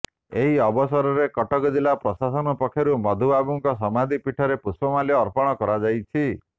ଏହି ଅବସରରେ କଟକ ଜିଲ୍ଳା ପ୍ରଶାସନ ପକ୍ଷରୁ ମଧୁବାବୁଙ୍କ ସମାଧି ପୀଠରେ ପୁଷ୍ପମାଲ୍ୟ ଅର୍ପଣ କରାଯାଇଛି